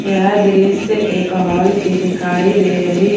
यह दृश्य एक हाल की दिखाई दे रही--